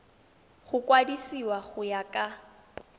go kwadisiwa go ya ka